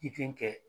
I den kɛ